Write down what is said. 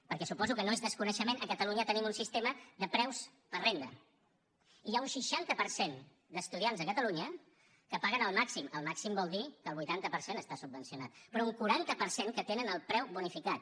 perquè suposo que no és desconeixement a catalunya tenim un sistema de preus per renda i hi ha un seixanta per cent d’estudiants a catalunya que paguen el màxim el màxim vol dir que el vuitanta per cent està subvencionat però un quaranta per cent que tenen el preu bonificat